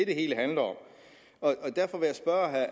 det hele handler om